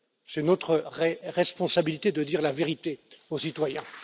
C'est notre responsabilité de dire la vérité aux citoyens.